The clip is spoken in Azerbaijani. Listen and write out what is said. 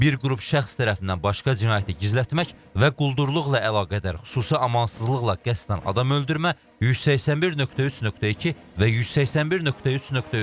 Bir qrup şəxs tərəfindən başqa cinayəti gizlətmək və quldurluqla əlaqədar xüsusi amansızlıqla qəsdən adam öldürmə, 181.3.2 və 181.3.3.